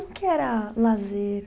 que era lazer?